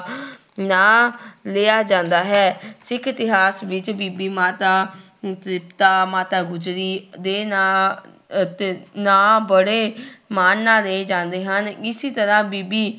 ਨਾਂ ਲਿਆ ਜਾਂਦਾ ਹੈ ਸਿੱਖ ਇਤਿਹਾਸ ਵਿੱਚ ਬੀਬੀ ਮਾਤਾ ਤ੍ਰਿਪਤਾ, ਮਾਤਾ ਗੁਜ਼ਰੀ ਦੇ ਨਾਂ ਅਤੇ ਨਾਂ ਬੜੇ ਮਾਣ ਨਾਲ ਲਏ ਜਾਂਦੇ ਹਨ, ਇਸੀ ਤਰ੍ਹਾਂ ਬੀਬੀ